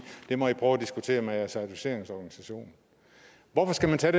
det må i prøve at diskutere med jeres certificeringsorganisation hvorfor skal man tage